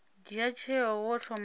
dzhia tsheo wo thoma wa